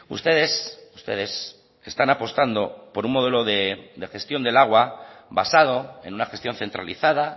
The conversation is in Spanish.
ustedes ustedes están apostando por un modelo de gestión del agua basado en una gestión centralizada